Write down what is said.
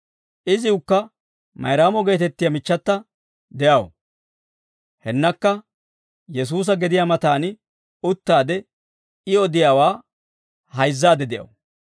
Iziwukka Mayraamo geetettiyaa michchata de'aw; hennakka Yesuusa gediyaa mataan uttaade, I odiyaawaa hayzzaadde de'aw.